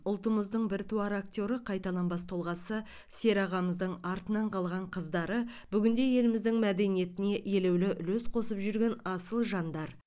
ұлтымыздың біртуар актері қайталанбас тұлғасы серағамыздың артынан қалған қыздары бүгінде еліміздің мәдениетіне елеулі үлес қосып жүрген асыл жандар